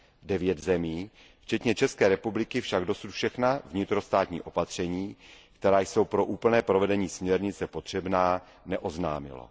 Devět zemí, včetně České republiky, však dosud všechna vnitrostátní opatření, která jsou pro úplné provedení směrnice potřebná, neoznámilo.